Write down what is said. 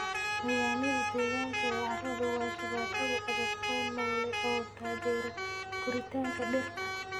Nidaamyada deegaanka ee carradu waa shabakado adag oo noole oo taageera koritaanka dhirta.